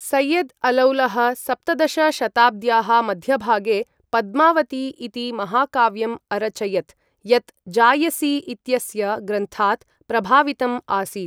सैयद् अलौलः सप्तदश शताब्द्याः मध्यभागे पद्मावती इति महाकाव्यम् अरचयत् यत् जायसी इत्यस्य ग्रन्थात् प्रभावितम् आसीत्।